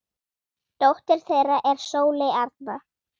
Dóttir þeirra er Sóley Arna.